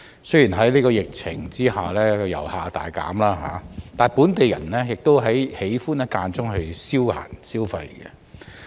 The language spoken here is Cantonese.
雖然在疫情下遊客人數大減，但本地人亦很喜歡間中前往這些跳蚤市場消閒、消費。